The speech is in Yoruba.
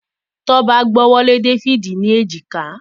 Toba gb'ọwọ Lẹ David ní Èjìká.